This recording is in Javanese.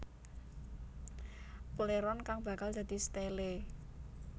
Pléron kang bakal dadi stélé